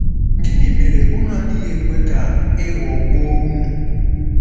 Gịnị mere unu adịghị ekwe ka e ghọgbuo unu?